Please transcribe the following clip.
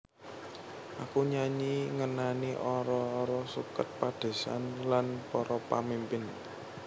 Aku nyanyi ngenani ara ara suket padésan lan para pamimpin